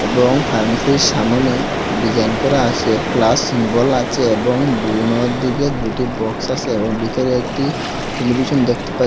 এবং ফার্মেসীর সামোনে ডিজাইন করা আসে প্লাস সিম্বল আচে এবং দিকে দুটি বক্স আসে এবং বিতরে একটি টেলিভিশন দেখতে পা--